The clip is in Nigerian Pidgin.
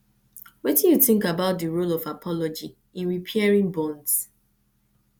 wetin you think about di role of apology in repairing bonds